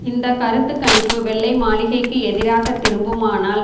இந்த கருத்து கணிப்பு வெள்ளை மாளிகைக்கு எதிராக திரும்புமானால்